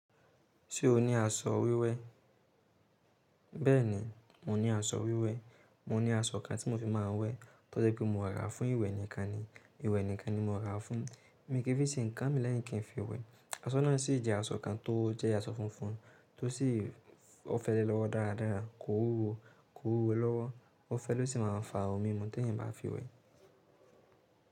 Ṣé o ní aṣọ wíwẹ̀? Bẹ́ẹ̀ni, mo ní aṣọ wíwẹ̀. Mo ní aṣọ kan tí mo fi má ń wẹ̀. Tọ́ dẹ́ pé mo rà á fún ìwẹ̀ nìkan ni. Ìwẹ̀ nìkan ni mo rà á fún. Mi kì í fi ṣe nǹkan mi lẹ́yìn kí n fi wẹ̀. Aṣọ náà sì jẹ́ aṣọ kan tó jẹ́ aṣọ funfun tó sì ọ́ fẹ́lẹ́ lọ́wọ́ dáradára, kò wúwo, kò wúwo lọ́wọ́. Ọ́ fẹ́ ló sì máa fà á omí mu tí èèyàn bá fi wẹ̀